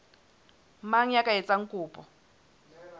mang ya ka etsang kopo